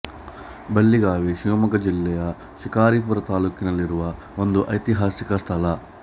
ಬಳ್ಳಿಗಾವೆ ಶಿವಮೊಗ್ಗ ಜಿಲ್ಲೆಯ ಶಿಕಾರಿಪುರ ತಾಲ್ಲೂಕಿನಲ್ಲಿರುವ ಒಂದು ಐತಿಹಾಸಿಕ ಸ್ಥಳ